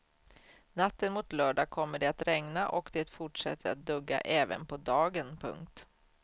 Natten mot lördag kommer det att regna och det fortsätter att dugga även på dagen. punkt